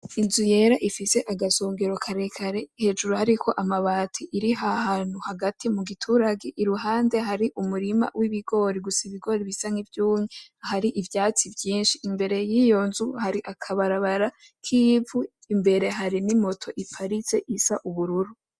Inzu yera ifise agasongero karekare, hejuru hariko amabati. Iri hahantu hagati mu giturage, iruhande hari umurima w'ibigori, gusa ibigori bisa n'ivyumye, hari ivyatsi byinshi. Imbere y'iyo nzu hari akabarabara k'ivu, imbere hari n'imoto iparitse isa ubururu.